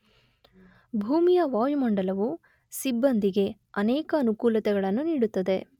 ಭೂಮಿಯ ವಾಯುಮಂಡಲವು ಸಿಬ್ಬಂದಿಗೆ ಅನೇಕ ಅನುಕೂಲತೆಗಳನ್ನು ನೀಡುತ್ತದೆ.